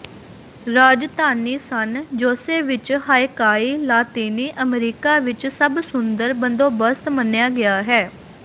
ਰਾਜਧਾਨੀ San Jose ਵਿੱਚ ਹਾਇਕਾਈ ਲਾਤੀਨੀ ਅਮਰੀਕਾ ਵਿੱਚ ਸਭ ਸੁੰਦਰ ਬੰਦੋਬਸਤ ਮੰਨਿਆ ਗਿਆ ਹੈ